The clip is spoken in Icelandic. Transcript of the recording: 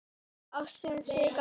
Ástin sigrar allt.